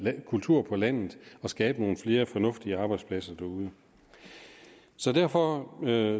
kultur på landet og skabe nogle flere fornuftige arbejdspladser derude så derfor er